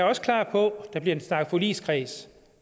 også klar på der bliver snakket forligskreds